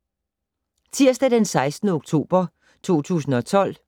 Tirsdag d. 16. oktober 2012